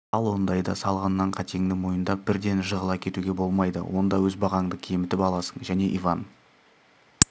ал ондайда салғаннан қатеңді мойындап бірден жығыла кетуге болмайды онда өз бағаңды кемітіп аласың және иван